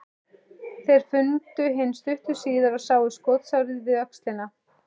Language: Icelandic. Þeir fundu hinn stuttu síðar og sáu skotsárið við öxlina.